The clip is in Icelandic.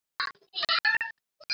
En hvers vegna ekki?